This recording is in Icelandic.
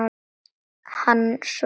Hann svaraði engu.